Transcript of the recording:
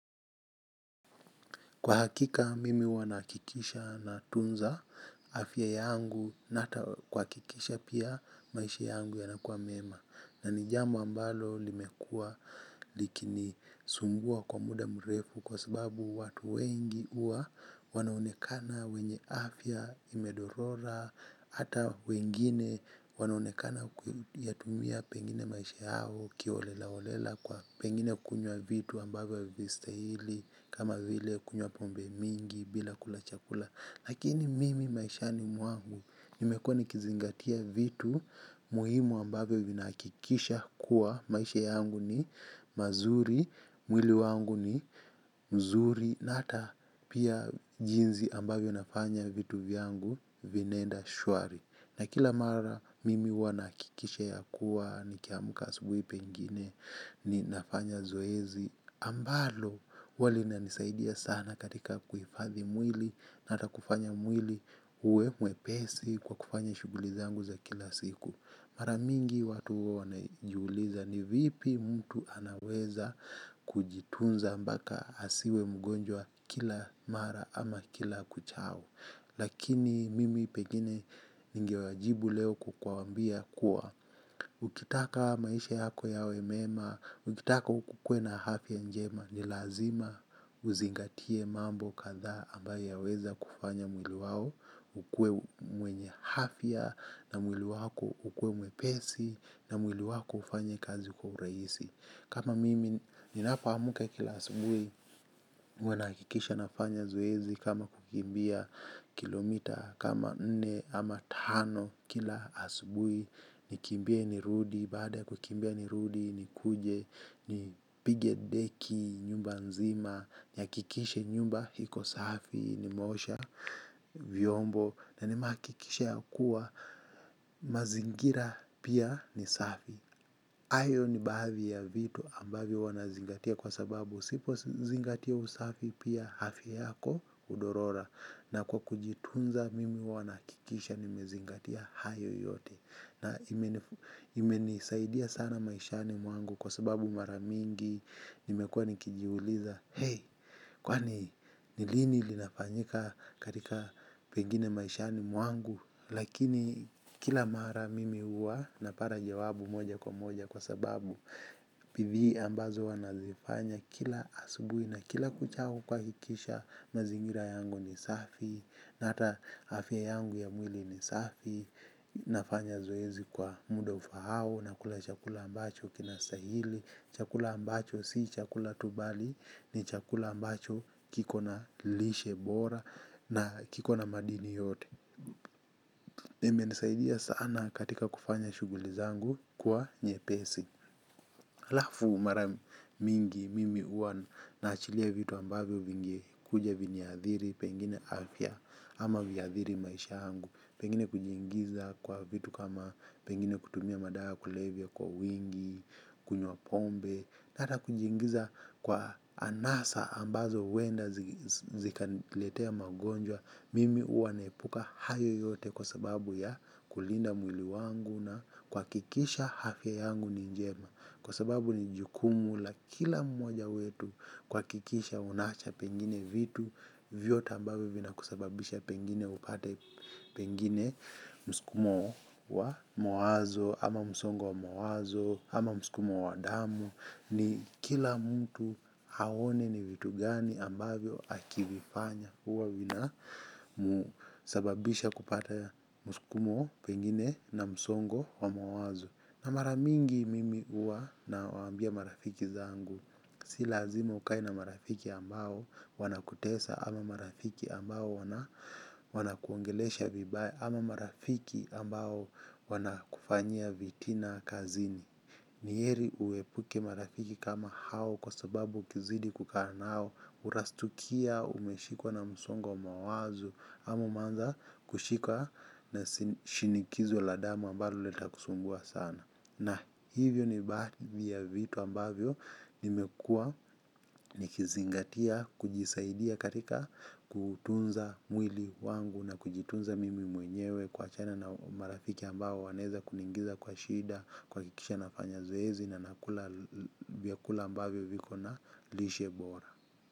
Kwa hakika, mimi huwa nahakikisha natunza afya yangu na hata kuhakikisha pia maisha yangu yanakua mema. Na ni jambo ambalo limekua likinisumbua kwa muda mrefu kwa sababu watu wengi huwa wanaonekana wenye afya imedorora. Hata wengine wanaonekana kuyatumia pengine maisha yao kiholelaholela kwa pengine kunywa vitu ambavyo havistahili kama vile kunywa pombe mingi bila kula chakula. Lakini mimi maishani mwangu, nimekuwa nikizingatia vitu muhimu ambavyo vinahakikisha kuwa, maisha yangu ni mazuri, mwili wangu ni mzuri, na hata pia jinzi ambavyo nafanya vitu vyangu vinaenda shwari. Na kila mara mimi huwa nahakikisha ya kuwa nikiamka asubui pengine ninafanya zoezi ambalo huwa linanisaidia sana katika kuhifadhi mwili na hata kufanya mwili uwe mwepesi kwa kufanya shughuli zangu za kila siku. Mara mingi watu huwa wanajiuliza ni vipi mtu anaweza kujitunza mbaka asiwe mgonjwa kila mara ama kila kuchao. Lakini mimi pengine ningewajibu leo kwa kuwaambia kuwa. Ukitaka maisha yako yawe mema, ukitaka ukue na afya njema, ni lazima uzingatie mambo kadha ambaye yaweza kufanya mwili wao. Ukue mwenye afya na mwili wako ukue mwepesi na mwili wako ufanye kazi kwa uraisi. Kama mimi ninapoamka kila asubui huwa nahakikisha nafanya zoezi kama kukimbia kilomita kama nne ama tano kila asubui. Nikimbie nirudi baada ya kukimbia nirudi nikuje nipige deki nyumba nzima nihakikishe nyumba iko safi nimeosha vyombo na nimehakikisha ya kuwa mazingira pia ni safi. Hayo ni baadhi ya vitu ambavyo huwa nazingatia kwa sababu usipozingatia usafi pia afya yako hudorora. Na kwa kujitunza mimi huwa nahakikisha nimezingatia hayo yote. Na imenisaidia sana maishani mwangu kwa sababu mara mingi nimekua nikijiuliza Hei kwani ni lini linafanyika katika pengine maishani mwangu. Lakini kila mara mimi huwa napara jawabu moja kwa moja kwa sababu pivi ambazo huwa nazifanya kila asubui na kila kuchao kuhakikisha mazingira yangu ni safi na hata afya yangu ya mwili ni safi. Nafanya zoezi kwa muda ufaao nakula chakula ambacho kinastahili. Chakula ambacho si chakula tu bali ni chakula ambacho kikona lishe bora na kikona madini yote. Na imenisaidia sana katika kufanya shughuli zangu kuwa nyepesi alafu mara mingi mimi huwa naachilia vitu ambavyo vingekuja viniathiri pengine afya ama viathiri maisha yangu. Pengine kujiingiza kwa vitu kama pengine kutumia madawa ya kulevya kwa wingi, kunywa pombe na hata kujiingiza kwa anasa ambazo huenda zikaniletea magonjwa mimi huwa naepuka haya yote kwa sababunya kulinda mwili yangu na kuhakikisha afya yangu ni njema kwa sababu ni jukumu la kila mmoja wetu kuhakikisha unaacha pengine vitu vyote ambayo vinakusababisha pengine upate pengine msukumo wa mawazo ama msongo wa mawazo ama msukumo wa damu. Ni kila mtu aone ni vitu gani ambavyo akivifanya huwa vina sababisha kupata muskumo pengine na msongo wa mawazo. Na mara mingi mimi huwa nawaambia marafiki zangu. Si lazima ukae na marafiki ambao wanakutesa ama marafiki ambao wanakuongelesha vibaya ama marafiki ambao wanakufanya vitina kazini. Ni heri uepuke marafiki kama hao kwa sababu ukizidi kukaa nao utastukia umeshikwa na msongi wa mawazo ama umeanza kushikwa na shinikizo la damu ambalo litakusumbua sana. Na hivyo ni baadhi ya vitu ambavyo nimekua nikizingatia kujisaidia katika kutunza mwili wangu na kujitunza mimi mwenyewe kuachana na marafiki ambao wanaeza kuniingiza kwa shida kuhakikisha nafanya zoezi na nakula vyakula ambavyo viko na lishe bora.